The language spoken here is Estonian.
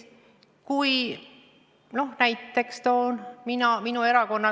Ma toon näiteks oma erakonna.